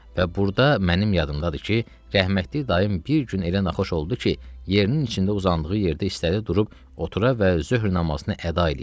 Və burda mənim yadımdadır ki, rəhmətlik dayım bir gün elə naxoş oldu ki, yerinin içində uzandığı yerdə istədi durub otura və zöhr namazını əda eləyə.